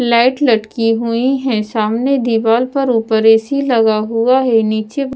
light लटकी हुई है सामने दीवार पर ऊपर ए_ सी लगा हुआ है नीचे--